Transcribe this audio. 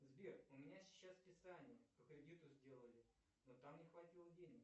сбер у меня сейчас списание по кредиту сделали но там не хватило денег